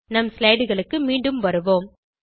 நம் slideகளுக்கு மீண்டும் வருவோம்